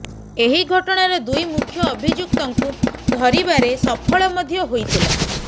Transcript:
ଏହି ଘଟଣାର ଦୁଇ ମୁଖ୍ୟ ଅଭିଯୁକ୍ତଙ୍କୁ ଧରିବାରେ ସଫଳ ମଧ୍ୟ ହୋଇଥିଲା